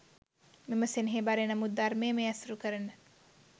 මෙම සෙනෙහබර, එනමුත් ධර්මයම ඇසුරු කරන